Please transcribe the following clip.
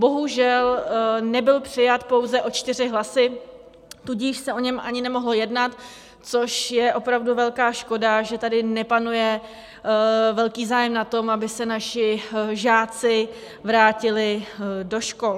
Bohužel nebyl přijat pouze o čtyři hlasy, tudíž se o něm ani nemohlo jednat, což je opravdu velká škoda, že tady nepanuje velký zájem na tom, aby se naši žáci vrátili do škol.